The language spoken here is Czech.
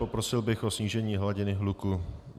Poprosil bych o snížení hladiny hluku.